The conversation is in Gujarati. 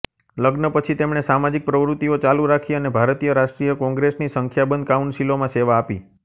લગ્ન પછી તેમણે સામાજિક પ્રવૃત્તિઓ ચાલુ રાખી અને ભારતીય રાષ્ટ્રીય કોંગ્રેસની સંખ્યાબંધ કાઉન્સિલોમાં સેવા આપી